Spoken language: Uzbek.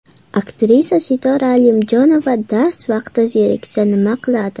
Aktrisa Sitora Alimjonova dars vaqti zeriksa nima qiladi?.